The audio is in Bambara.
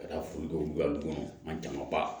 Ka taa foli kɛ a kɔnɔ an jama ban